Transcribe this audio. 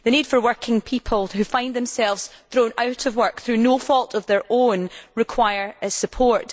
The needs of working people who find themselves thrown out of work through no fault of their own require support.